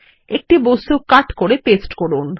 একটি বস্তু কাট করে পেস্ট করুন